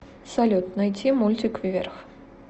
салют найти мультик вверх